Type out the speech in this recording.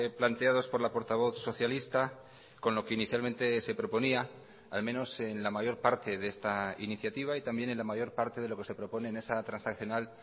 planteados por la portavoz socialista con lo que inicialmente se proponía al menos en la mayor parte de esta iniciativa y también en la mayor parte de lo que se propone en esa transaccional